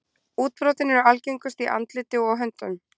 Útbrotin eru algengust í andliti og á höndum.